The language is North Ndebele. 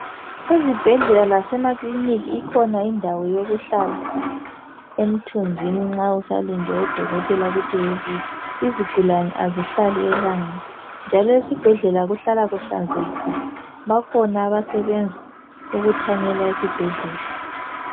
Ezibhedlela lasemaclinika ikhona indawo yokuhlala emthunzin nxa usalinde odokotela ukuthi bebuye izigulani kazihlali elangeni njalo esibhedlela kumele kuhlale kuhlanzekile bakhona abasebenza ukuthanyela esibhedlela